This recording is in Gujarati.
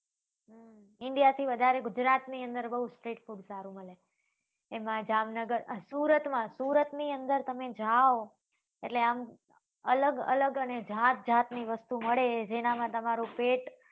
india થી વધારે ગુજરાત ની અંદર બઉ street food સારું મળે એમાં જામ નગર સુરત માં સુરત ની અંદર તમે જાઓ એટલે આમ અલગ અલગ અને જાત જાત ની વસ્તુ મળે જેમાં માં તમારું પેટ